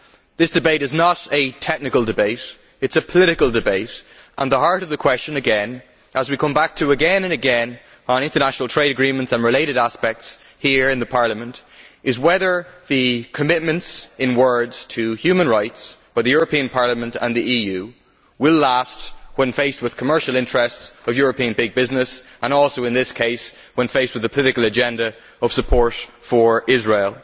This debate is not a technical debate, it is a political debate, and the heart of the question again which we come back to time and again on international trade agreements and related aspects here in Parliament is whether the commitments in words to human rights by the European Parliament and the EU will last when faced with commercial interests of European big business and also, in this case, when faced with a political agenda of support for Israel.